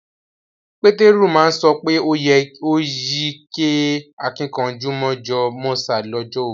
Peteru ma so pe o yí kẹ́ àkìnkanjú mọ̀jọ̀ mọ̀sá lọ́jọ́ ogún